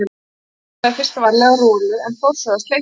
Branda þefaði fyrst varlega af Rolu en fór svo að sleikja hana.